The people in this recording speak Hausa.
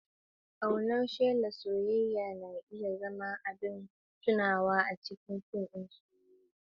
Ƙaunar shelar soyayya na iya zama abin tunawa a cikin fim ɗin soyayya.